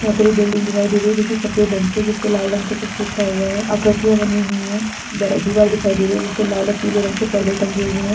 यहाँ पर एक बिल्डिंग दिखाई दे रही है जो कि सफ़ेद रंग कि है जिसपे लाल रंग से कुछ लिखा हुआ है आकृतियां बनी हुई है बड़ा दिवार दिखाई दे रही है जिस पर लाल और पीले रंग पर्दे टंगे हुए हैं।